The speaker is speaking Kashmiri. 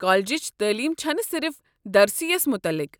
کالجٕچ تعلیم چھنہٕ صرف درسی یس متعلق۔